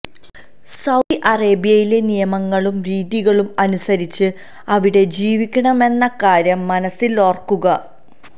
Saudi അറേബ്യയിലെ നിയമങ്ങളും രീതികളും അനുസരിച്ച് അവിടെ ജീവിക്കണമെന്ന കാര്യം മനസ്സിലോര്ക്കുക